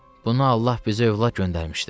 Bunu Allah bizə övlad göndərmişdi.